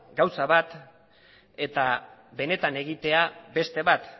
gauza bat eta benetan egitea beste bat